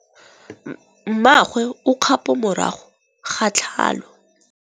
Mmagwe o kgapô morago ga tlhalô.